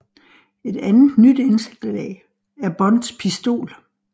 Et andet nyt indslag er Bonds pistol